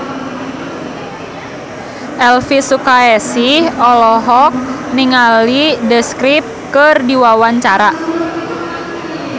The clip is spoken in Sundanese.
Elvi Sukaesih olohok ningali The Script keur diwawancara